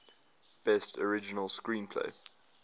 best original screenplay